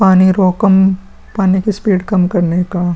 पानी रोकम पानी की स्पीड कम करने का --